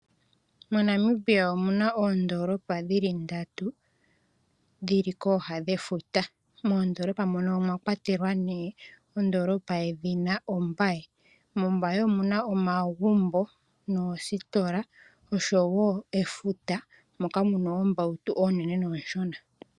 MoNamibia omuna oondoolopa dhi li kooga dhefuta, moondolopa mono omwa kwatelwa ne, ondoolopa yedhina ombaye. Mombaye omuna omagumbo, noositola osho wo efuta moka muna oombautu oonene nooshona.